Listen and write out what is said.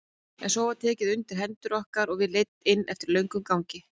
En svo var tekið undir hendur okkar og við leidd inn eftir löngum gangi.